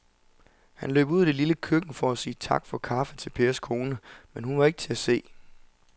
Han løb ud i det lille køkken for at sige tak for kaffe til Pers kone, men hun var ikke til at se.